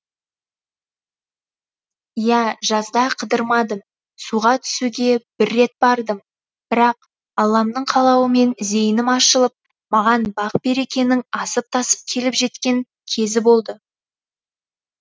иә жазда қыдырмадым суға түсуге бір рет бардым бірақ алламның қалауымен зейінім ашылып маған бақ берекенің асып тасып келіп жеткен кезі болды